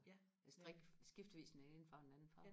strikke skiftevis den ene farve og den anden farve